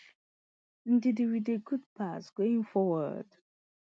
ndidi wit di good pass going forward